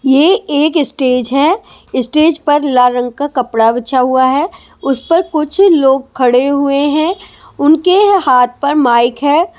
ये एक स्टेज है स्टेज पर लाल रंग का कपड़ा बिछा हुआ है उस पर कुछ लोग खड़े हुए हैं उनके हाथ पर माइक है ।